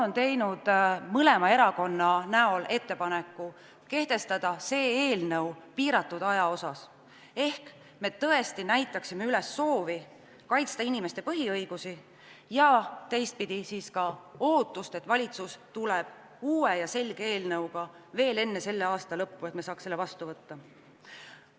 Mõlemad opositsioonierakonnad on teinud ettepaneku kehtestada see eelnõu piiratud ajaks, et me tõesti näitaksime üles soovi kaitsta inimeste põhiõigusi ja teistpidi ka ootust, et valitsus tuleb veel enne selle aasta lõppu välja uue ja selge eelnõuga ning me saame selle vastu võtta.